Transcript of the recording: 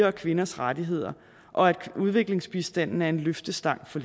og kvinders rettigheder og at udviklingsbistanden er en løftestang for